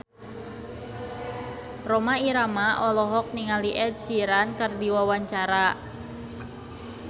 Rhoma Irama olohok ningali Ed Sheeran keur diwawancara